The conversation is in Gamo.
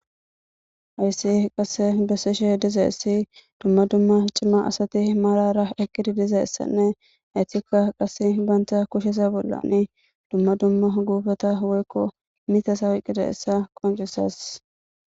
ayssi qasse bessishe diza issi dumma dumma cimma asati malara ekkidi diza essanne haytikka qas baanta kushesa bollani dumma dumma guubata woykko mita sawiqqida essa qoncisas